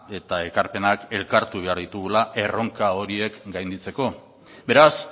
eta ekarpenak elkartu behar ditugula erronka horiek gainditzeko beraz